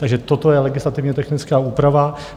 Takže toto je legislativně technická úprava.